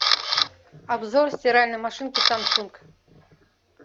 обзор стиральной машинки самсунг